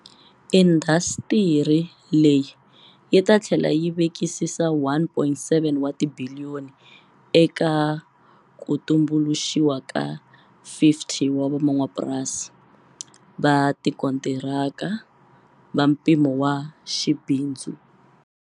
Indasitiri leyi yi ta tlhela yi vekisa R1.7 wa ti biliyoni eka ku tumbuluxiwa ka 50 van'wamapurasi va tikontiraka va mpimo wa xibindzu.